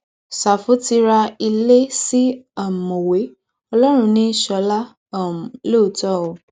ṣàfù ti ra ilé sí um mọwé ọlọrun ní í sọlá um lóòótọ o